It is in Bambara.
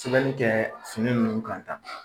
Sɛbɛn kɛ fini nunnu kan tan